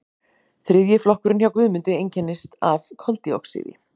þriðji flokkurinn hjá guðmundi einkennist af koldíoxíði